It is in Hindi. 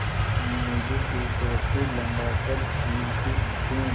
मीनू भी खूबसूरत थी लम्बा कद झील सी आंखें